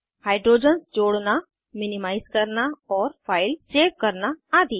hydrogens जोड़ना minimise करना और फाइल्स सेव करना आदि